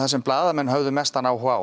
sem blaðamenn hföðu mestann áhuga á